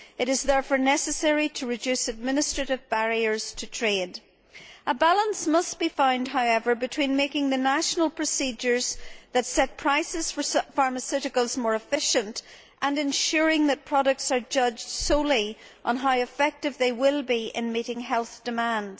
It is therefore necessary to reduce administrative barriers to trade. A balance must be found, however, between making the national procedures that set prices for pharmaceuticals more efficient and ensuring that products are judged solely on how effective they will be in meeting health demands.